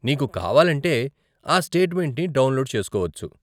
నీకు కావాలంటే ఆ స్టేట్మెంట్ని డౌన్లోడ్ చేసుకోవచ్చు.